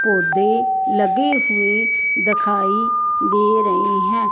पौधे लगे हुए दखाई दे रही हैं।